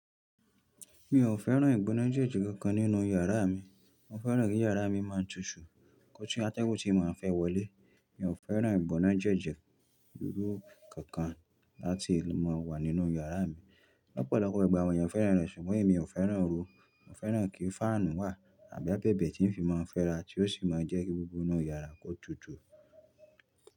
Mi ò fẹ́ràn ìgbónájẹ́jẹ́ kankan nínú yàrá mi. Mo fẹ́ràn kí yàrá mi máa tutù. Kọ́ tí atẹ́gùn tí màá fẹ́ wọlé, mi ò fẹ́ràn ìbónájẹ́jẹ́ irú kankan láti máa wà nínú yàrá mi. Lọ́pọ̀lọ́pọ̀ ọ̀gbà awọ̀n yẹn fẹ́ràn rẹ súngbọ́n mi ò fẹ́ràn ré. Mo fẹ́ràn kí fáànù wà àbí abẹ́bẹ́ tí ń fi máa ń fẹ́ra tí ó sì máa ń jẹ́ kí gbogbo inú yàrá kó tutù.